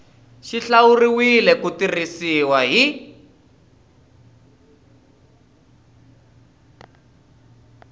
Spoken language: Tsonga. xi hlawuriwile ku tirhisiwa hi